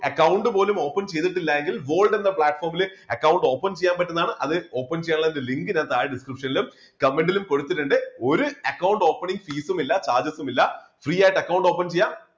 Account പോലും open ചെയ്തിട്ടില്ല എങ്കില് gold എന്ന platform ൽ അക്കൗണ്ട് open ചെയ്യാൻ പറ്റുന്നതാണ് അത് open ചെയ്യാനുള്ള link ഞാൻ താഴെ description നിലും കമന്റിലും കൊടുത്തിട്ടുണ്ട് ഒരു അക്കൗണ്ട് opening fees ഉം ഇല്ല charges സും ഇല്ല free ആയിട്ട് അക്കൗണ്ട് open ചെയ്യാം.